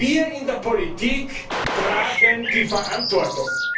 Wir in der Politik tragen die Verantwortung.